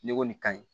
Ne ko nin ka ɲi